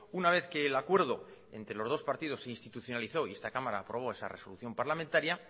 una vez que el acuerdo entre los dos partidos se institucionalizó y esta cámara aprobó esa resolución parlamentaria